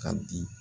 Ka di